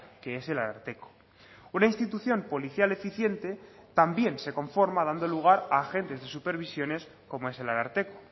que es el ararteko una institución policial eficiente también se conforma dando lugar a agentes de supervisiones como es el ararteko